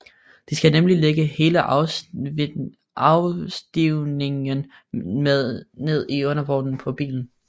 De skal nemlig lægge hele afstivningen ned i undervognen på bilen